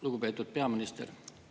Lugupeetud peaminister!